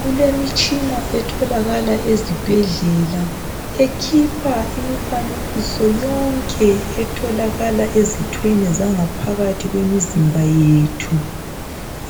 Kulemitshina etholakala ezibhedlela ekhipha imifanekiso yonke ethokala ezithweni zangaphakathi kwemizimba yethu